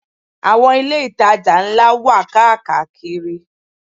Àwọn ilé-ìtajà ńlá wà káàkàkiri.